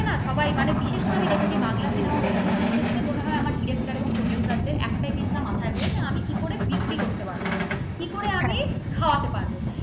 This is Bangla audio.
এটা না সবাই মানে বিশেষ করে আমি দেখেছি বাংলা সিনেমা web series র ক্ষেত্রে মনে হয় আমার director এবং producer দের একটা চিন্তায় মাথায় রয়েছে আমি কি করে বিক্রি করতে পারব কি করে আমি খাওয়াতে পারব ।